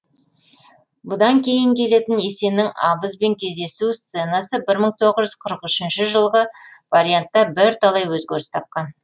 бұдан кейін келетін есеннің абызбен кездесу сценасы жылғы вариантта бірталай өзгеріс тапқан